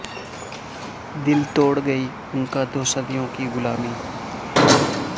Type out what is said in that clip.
دل توڑ گئی ان کا دو صدیوں کی غلامی